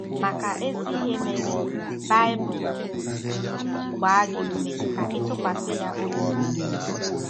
Maka ezi ihe mere, Baịbụl ji gbaa gị ume ka ị ‘ tụkwasị ya obi mgbe niile...